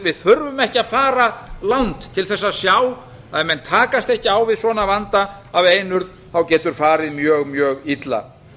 við þurfum ekki að fara langt til þess að sjá að ef menn takast ekki á við svona vanda af einurð getur farið mjög illa